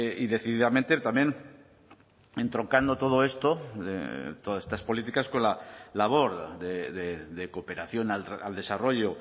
y decididamente también entroncando todo esto todas estas políticas con la labor de cooperación al desarrollo